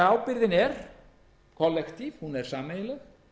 ábyrgðin er því kollektíf hún er sameiginleg